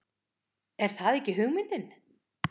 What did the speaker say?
Er það ekki hugmyndin?